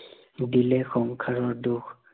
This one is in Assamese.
দিলে সংসাৰৰ দুখ